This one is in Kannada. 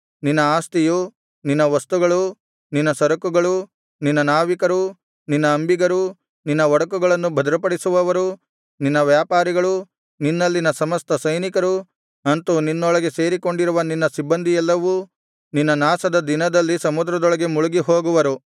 ನಿನ್ನ ಆಸ್ತಿಯು ನಿನ್ನ ವಸ್ತುಗಳು ನಿನ್ನ ಸರಕುಗಳು ನಿನ್ನ ನಾವಿಕರು ನಿನ್ನ ಅಂಬಿಗರು ನಿನ್ನ ಒಡಕುಗಳನ್ನು ಭದ್ರಪಡಿಸುವವರು ನಿನ್ನ ವ್ಯಾಪಾರಿಗಳು ನಿನ್ನಲ್ಲಿನ ಸಮಸ್ತ ಸೈನಿಕರು ಅಂತು ನಿನ್ನೊಳಗೆ ಸೇರಿಕೊಂಡಿರುವ ನಿನ್ನ ಸಿಬ್ಬಂದಿಯೆಲ್ಲವೂ ನಿನ್ನ ನಾಶದ ದಿನದಲ್ಲಿ ಸಮುದ್ರದೊಳಗೆ ಮುಳುಗಿ ಹೋಗುವರು